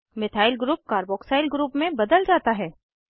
methyl group carboxyl group में बदला जाता है